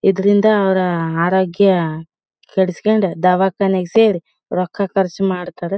ಇದ್ರಿಂದ ಅವರ ಅರೋಗ್ಯ ಕೆಡಿಸ್ಕೊಂಡು ದವಾಖಾನೆಗ್ ಸೇರಿ ರೊಕ್ಕಾ ಖರ್ಚ್ ಮಾಡ್ತಾರೇ.